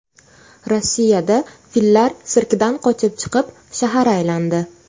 Rossiyada fillar sirkdan qochib chiqib, shahar aylandi .